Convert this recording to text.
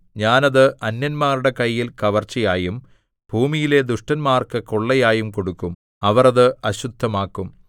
ഞാൻ അത് അന്യന്മാരുടെ കയ്യിൽ കവർച്ചയായും ഭൂമിയിലെ ദുഷ്ടന്മാർക്ക് കൊള്ളയായും കൊടുക്കും അവർ അത് അശുദ്ധമാക്കും